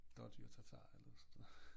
Dådyrtartar eller sådan noget